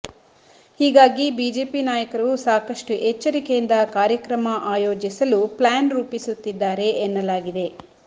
ಹೀಗಾಗಿ ಬಿಜೆಪಿ ನಾಯಕರು ಸಾಕಷ್ಟು ಎಚ್ಚರಿಕೆಯಿಂದ ಕಾರ್ಯಕ್ರಮ ಆಯೋಜಿಸಲು ಪ್ಲಾನ್ ರೂಪಿಸುತ್ತಿದ್ದಾರೆ ಎನ್ನಲಾಗಿದೆ